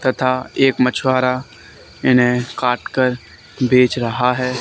तथा एक मछुआरा इन्हें काट कर बेच रहा है।